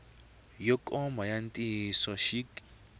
yo koma ya ntiyiso xik